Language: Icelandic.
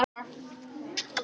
Blómlegt í Mýrdalnum